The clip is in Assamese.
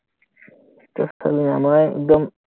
একদম